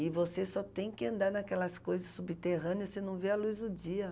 E você só tem que andar naquelas coisas subterrâneas, você não vê a luz do dia.